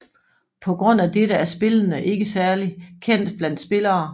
På grund af dette er spillende ikke særlig kendt blandt spillere